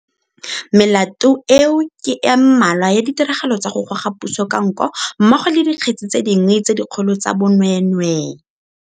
Melato eo ke e mmalwa ya 'ditiragalo tsa go goga puso ka nko' mmogo le dikgetse tse dingwe tse dikgolo tsa bonweenwee.